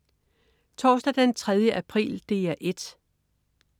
Torsdag den 3. april - DR 1: